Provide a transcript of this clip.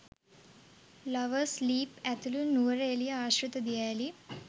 lovers Leap ඇතුළු නුවර එලිය ආශ්‍රිත දියඇලි